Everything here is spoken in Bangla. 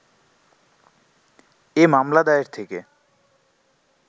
এ মামলা দায়ের থেকে